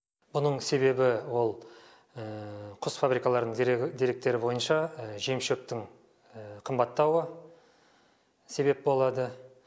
бұның себебі ол құс фабрикаларының дерегі деректері бойынша жем шөптің қымбаттауы себеп болады